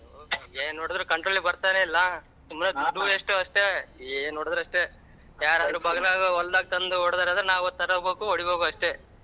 ಏನ್ ಹೊಡದರು control ಗೆ ಬರ್ತಾನೆ ಇಲ್ಲ ಸುಮ್ನೆ ದುಡ್ಡು waste ಉ ಅಷ್ಟೆ ಏನ್ ಹೊಡದರು ಅಷ್ಟೆ ಯಾರಾದ್ರೂ ಬಗ್ಲಗ್ ಹೊಲದಾಗ ತಂದು ಹೋಡ್ದರಂದ್ರ ನಾವು ತಗಬೇಕು ಹೊಡಿಬೇಕೂ ಅಷ್ಟೆ.